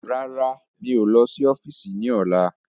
Rárá, mi ò lọ sí ọ́fíìsì ni ọ̀la.